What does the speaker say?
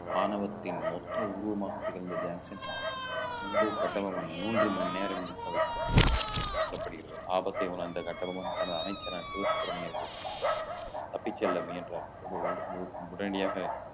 ஆணவத்தின் மொத்த உருவமாக திகழ்ந்த ஜாக்சன் முன்பு கட்டபொம்மன் மூன்று மணி நேரம் நிர்க்க வைக்கப்பட்டதாக சொல்லப்படுகிறது ஆபத்தை உணர்ந்த கட்டபொம்மன் தனது அமைச்சரான சிவ சுப்பிரமணியனுக்கு தப்பிச் செல்ல முயன்றார் உடனடியாக